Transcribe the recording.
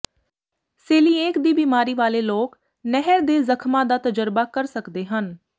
coeliac ਦੀ ਬਿਮਾਰੀ ਵਾਲੇ ਲੋਕ ਨਹਿਰ ਦੇ ਜ਼ਖਮਾਂ ਦਾ ਤਜਰਬਾ ਕਰ ਸਕਦੇ ਹਨ